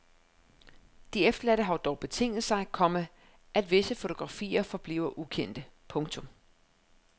De efterladte har dog betinget sig, komma at visse fotografier forbliver ukendte. punktum